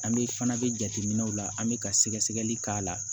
An bɛ fana bɛ jateminɛw la an bɛ ka sɛgɛsɛgɛli k'a la